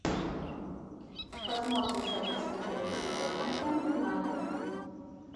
посмотри запись игры тоттенхэм юнайтед